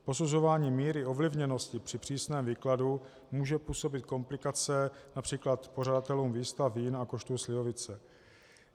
Posuzování míry ovlivněnosti při přísném výkladu může působit komplikace například pořadatelům výstav vín a koštu slivovice.